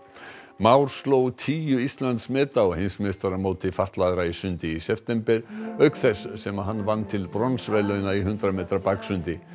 Már sló tíu Íslandsmet á heimsmeistaramóti fatlaðra í sundi í september auk þess sem hann vann til bronsverðlauna í hundrað metra baksundi